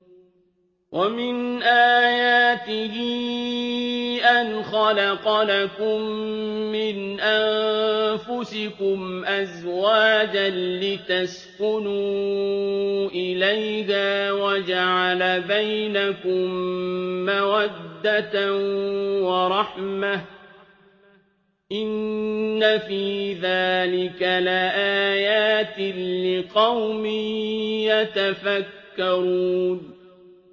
وَمِنْ آيَاتِهِ أَنْ خَلَقَ لَكُم مِّنْ أَنفُسِكُمْ أَزْوَاجًا لِّتَسْكُنُوا إِلَيْهَا وَجَعَلَ بَيْنَكُم مَّوَدَّةً وَرَحْمَةً ۚ إِنَّ فِي ذَٰلِكَ لَآيَاتٍ لِّقَوْمٍ يَتَفَكَّرُونَ